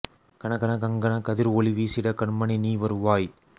கண கண கங்கண கதிர் ஒளி வீசிடக் கண்மணி நீ வருவாய்